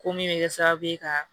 Ko min bɛ kɛ sababu ye ka